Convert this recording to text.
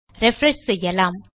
refresh செய்யலாம்